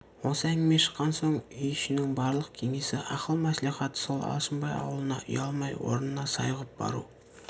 осы әңгіме шыққан соң үй ішінің барлық кеңесі ақыл мәслихаты сол алшынбай аулына ұялмай орнына сай ғып бару